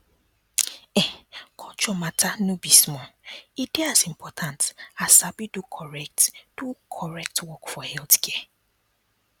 ehn culture matter no be small e dey as important as sabi do correct do correct work for healthcare